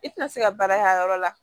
I tɛna se ka baara y'a yɔrɔ la